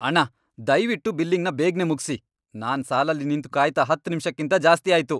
ಅಣ್ಣಾ, ದಯ್ವಿಟ್ಟು ಬಿಲ್ಲಿಂಗ್ನ ಬೇಗ್ನೆ ಮುಗ್ಸಿ! ನಾನ್ ಸಾಲಲ್ಲಿ ನಿಂತು ಕಾಯ್ತಾ ಹತ್ತ್ ನಿಮಿಷಕ್ಕಿಂತ ಜಾಸ್ತಿ ಆಯ್ತು.